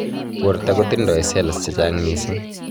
porta kotindai cells chechang missing